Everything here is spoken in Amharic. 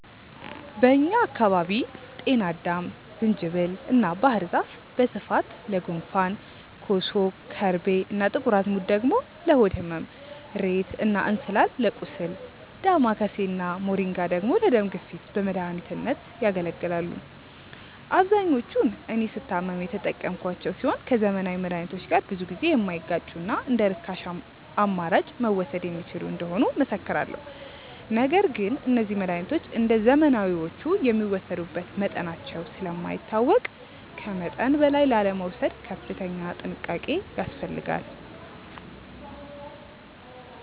በእኛ አካባቢ ጤናአዳም፣ ዝንጅብል እና ባህር ዛፍ በስፋት ለጉንፋን፣ ኮሶ፣ ከርቤ እና ጥቁር አዝሙድ ደግሞ ለሆድ ህመም፣ እሬት እና እንስላል ለቁስል፣ ዳማከሴ እና ሞሪንጋ ደግሞ ለደም ግፊት በመድኃኒትነት ያገለግላሉ። አብዛኞቹን እኔ ስታመም የተጠቀምኳቸው ሲሆን ከዘመናዊ መድሃኒቶች ጋር ብዙ ጊዜ የማይጋጩና እንደርካሽ አማራጭ መወሰድ የሚችሉ እንደሆኑ እመሰክራለሁ። ነገር ግን እነዚህ መድሃኒቶች እንደዘመናዊዎቹ የሚወሰዱበት መጠናቸው ስለማይታወቅ ከመጠን በላይ ላለመውሰድ ከፍተኛ ጥንቃቄ ያስፈልጋል።